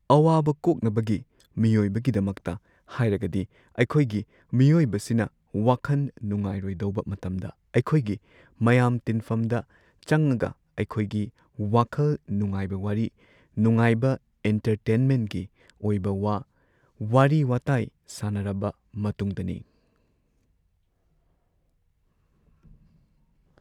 ꯑꯋꯥꯕ ꯀꯣꯛꯅꯕꯒꯤ ꯃꯤꯑꯣꯢꯕꯒꯤꯗꯃꯛꯇ ꯍꯥꯏꯔꯒꯗꯤ ꯑꯈꯣꯏꯒꯤ ꯃꯤꯑꯣꯏꯕꯁꯤꯅ ꯋꯥꯈꯟ ꯅꯨꯡꯉꯥꯏꯔꯣꯢꯗꯧꯕ ꯃꯇꯝꯗ ꯑꯩꯈꯣꯏꯒꯤ ꯃꯌꯥꯝ ꯇꯤꯟꯐꯝꯗ ꯆꯪꯉꯒ ꯑꯈꯣꯏꯒꯤ ꯋꯥꯈꯜ ꯅꯨꯉꯥꯏꯕ ꯋꯥꯔꯤ ꯅꯨꯉꯥꯏꯕ ꯏꯟꯇꯔꯇꯦꯟꯃꯦꯟꯒꯤ ꯑꯣꯏꯕ ꯋꯥ ꯋꯥꯔꯤ ꯋꯇꯥꯏ ꯁꯥꯟꯅꯔꯕ ꯃꯇꯨꯡꯗꯅꯤ꯫